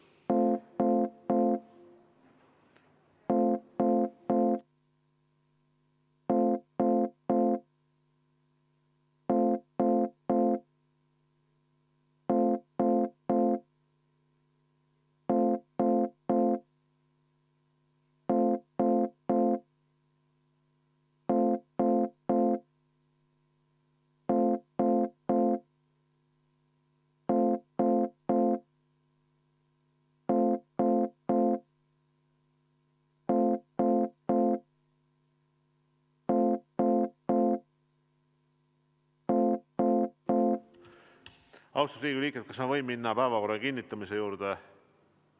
Läheme nüüd päevakorra kinnitamise juurde.